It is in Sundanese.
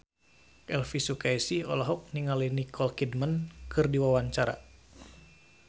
Elvy Sukaesih olohok ningali Nicole Kidman keur diwawancara